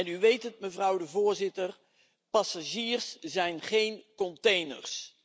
U weet het, mevrouw de Voorzitter, passagiers zijn geen containers.